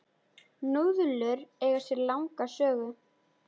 Núðlur eiga sér langa sögu.